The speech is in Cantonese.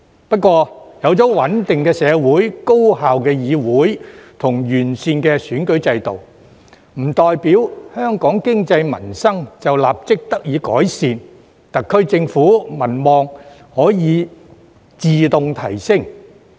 不過，有了穩定的社會、高效的議會及完善的選舉制度，並不代表香港經濟民生立即得以改善，特區政府民望可自動提升。